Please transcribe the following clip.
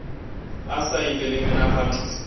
a sa ile le menagano